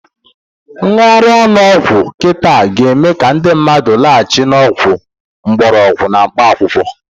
Ngara ọnụ ọgwụ kita ga-eme ka ndị mmadụ lachịbe n'ọgwụ mgbarọgwụ na mkpaakwụkwọ.